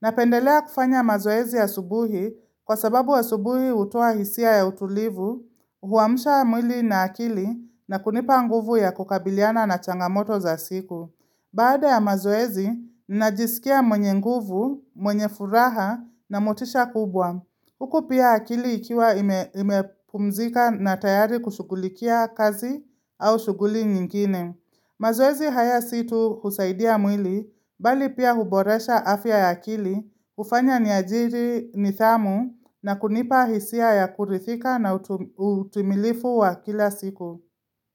Napendelea kufanya mazoezi asubuhi kwa sababu asubuhi hutoa hisia ya utulivu, huamsha mwili na akili na kunipa nguvu ya kukabiliana na changamoto za siku. Baada ya mazoezi, najisikia mwenye nguvu, mwenye furaha na motisha kubwa. Huku pia akili ikiwa ime imepumzika na tayari kushughulikia kazi au shughuli nyingine. Mazoezi haya situ husaidia mwili, bali pia huboresha afya ya akili, hufanya ni ajiri ni thamu na kunipa hisia ya kurithika na utum utimilifu wa kila siku.